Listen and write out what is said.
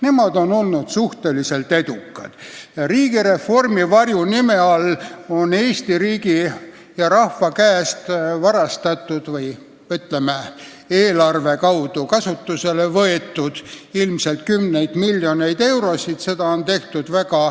Nemad on olnud edukad ja riigireformi varjunime all on Eesti riigi ja rahva käest varastatud või, ütleme, eelarve kaudu kasutusele võetud ilmselt kümneid miljoneid eurosid.